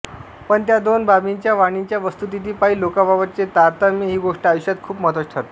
पण त्या दोन बाबींच्या वाणीच्या वस्तुस्थितीपायी लोकांबाबतचे तारतम्य ही गोष्ट आयुष्यात खूप महत्त्वाची ठरते